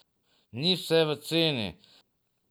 Ni vse v ceni.